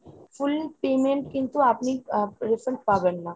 full payment কিন্তু আপনি আ refund পাবেন না।